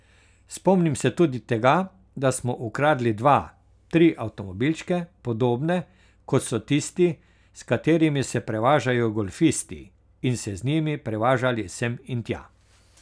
Spomnim se tudi tega, da smo ukradli dva, tri avtomobilčke, podobne, kot so tisti, s katerimi se prevažajo golfisti, in se z njimi prevažali sem in tja.